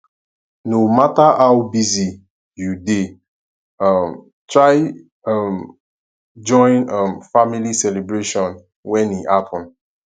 no matter how busy you dey um try um join um family celebration when e happen